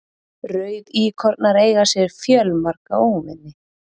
Rauðíkornar eiga sér fjölmarga óvini.